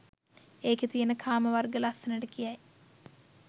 එකේ තියෙන කාම වර්ග ලස්සනට කියයි.